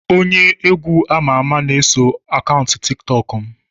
Onye egwu ama ama na-eso akaụntụ tiktok m